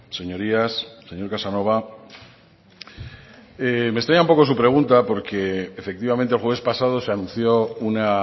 señorías señor casanova me extraña un poco su pregunta porque efectivamente el jueves pasado se anunció una